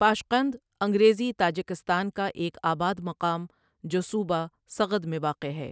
Pashqand انگریزی Tajikistan کا ایک آباد مقام جو صوبہ سغد میں واقع ہے ۔